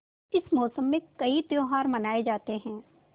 इस मौसम में कई त्यौहार मनाये जाते हैं